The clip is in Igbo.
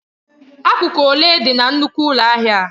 Akụkụ ole dị na nnukwu ụlọ ahịa a?